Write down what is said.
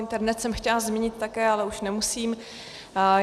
Internet jsem chtěla zmínit také, ale už nemusím.